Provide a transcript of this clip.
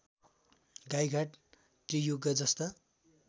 गाइघाट त्रियुगा जस्ता